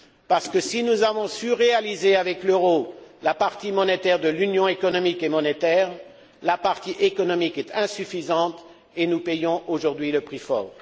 Parce que si nous avons su réaliser, avec l'euro, la partie monétaire de l'Union économique et monétaire, la partie économique est insuffisante et nous payons aujourd'hui le prix fort.